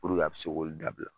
a bɛ se k'olu dabila.